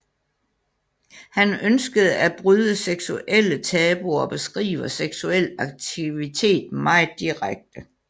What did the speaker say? Han ønskede at bryde seksuelle tabuer og beskriver seksuel aktivitet meget direkte